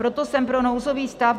Proto jsem pro nouzový stav.